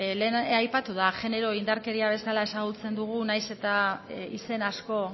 lehen aipatu da genero indarkeria bezala ezagutzen dugu nahiz eta izen asko